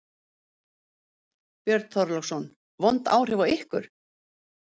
Björn Þorláksson: Vond áhrif á ykkur?